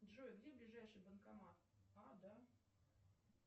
джой где ближайший банкомат а да